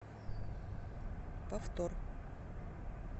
повтор